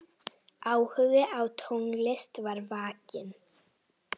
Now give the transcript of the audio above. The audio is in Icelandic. Áhugi á tónlist var vakinn.